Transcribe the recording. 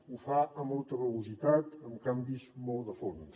ho fa a molta velocitat amb canvis molt de fons